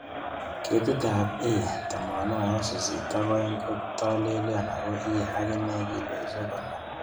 Ketitab A82 kotolelion ago iye agine kilosiek konom